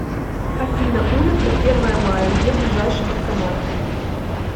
афина улица первое мая где ближайший банкомат